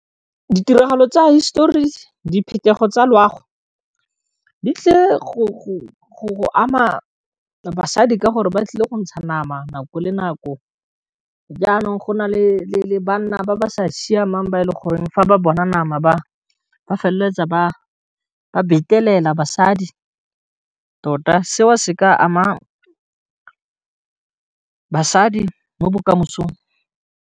Ditiragalo tsa hisetori diphetogo tsa loago di tlile go ama basadi ka gore ba tlile go ntsha nama nako le nako, jaanong go na le banna ba ba di sa siamang ba e leng gore fa ba bona nama ba feleletsa ba betelela basadi tota seo se ka ama basadi mo bokamosong.